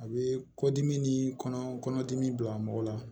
A bɛ kɔdimi ni kɔnɔdimi bila mɔgɔ la